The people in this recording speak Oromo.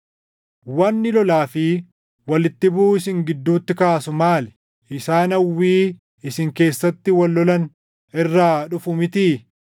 Wanni lolaa fi walitti buʼuu isin gidduutti kaasu maali? Isaan hawwii isin keessatti wal lolan irraa dhufu mitii?